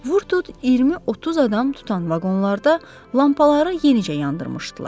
Vur-tut 20-30 adam tutan vaqonlarda lampaları yenicə yandırmışdılar.